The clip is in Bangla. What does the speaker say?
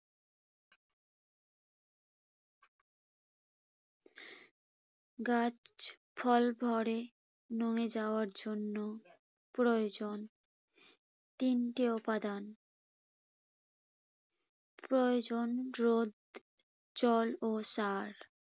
গাছ ফল ভরে নুয়ে যাওয়ার জন্য প্রয়োজন তিনটি উপাদান। প্রয়োজন রোদ, জল ও সার।